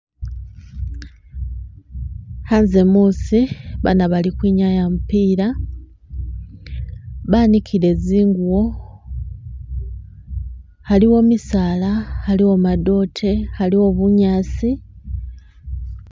Khanze muusi , baana bali ukhwinyaya mupila , banikiile zingubo, aliwo misaala , aliwo madoote, aliwo bunyaasi.